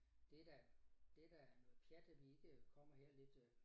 Det da det da noget pjat at vi ikke kommer her lidt øh